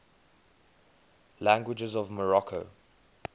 languages of morocco